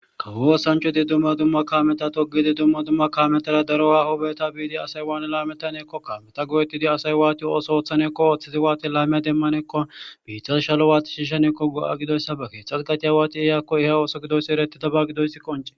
Kawo oosanchchatti dumma dumma kaameta toogidii dumma dumma tohora oogeta biiddi asay wanii lamettanassikkokka watti go'oettidii asya ooththo ooththanasikka watti ooththidi laame demanawu biittan shaluwa watti shiishshanawukka hegha giddoyssa ba keththa qachchi waxidii ooso gidobay qoncidobay erettes.